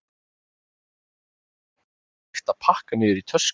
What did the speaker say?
Honum er fylgt heim þar sem honum er leyft að pakka niður í tösku.